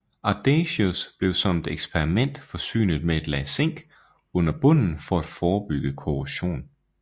Audacious blev som et eksperiment forsynet med et lag zink under bunden for at forebygge korrosion